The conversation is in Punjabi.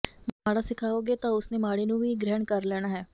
ਮਾੜਾ ਸਿਖਾਓਗੇ ਤਾਂ ਉਸ ਨੇ ਮਾੜੇ ਨੂੰੁ ਵੀ ਗ੍ਰਹਿਣ ਕਰ ਲੈਣਾ ਹੈ